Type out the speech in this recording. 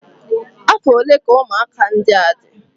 Afọ ole ka ụmụaka ndị a dị?